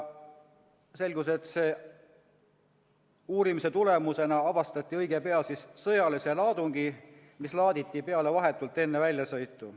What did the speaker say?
Uurimise tulemusena avastati õige pea sõjaline laadung, mis laaditi peale vahetult enne väljasõitu.